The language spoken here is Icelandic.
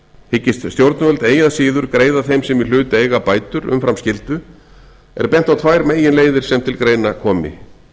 hyggist stjórnvöld eigi að síður greiða þeim sem í hlut eiga bætur umfram skyldu er bent á tvær meginleiðir sem til greina komi